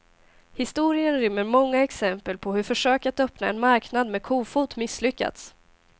Historien rymmer många exempel på hur försök att öppna en marknad med kofot misslyckats.